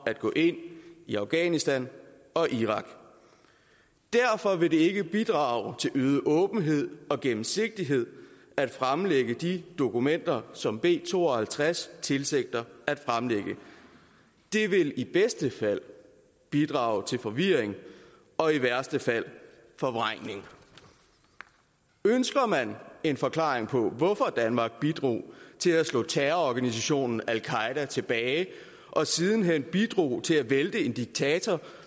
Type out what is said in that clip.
at gå ind i afghanistan og irak derfor vil det ikke bidrage til øget åbenhed og gennemsigtighed at fremlægge de dokumenter som b to og halvtreds tilsigter at fremlægge det vil i bedste fald bidrage til forvirring og i værste fald forvrængning ønsker man en forklaring på hvorfor danmark bidrog til at slå terrororganisationen al qaeda tilbage og siden hen bidrog til at vælte en diktator